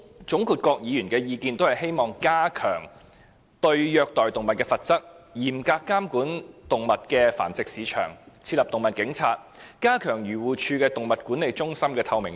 總括各議員的意見，都是希望加強對虐待動物的罰則、嚴格監管動物繁殖市場、設立"動物警察"及加強漁農自然護理署動物管理中心的透明度。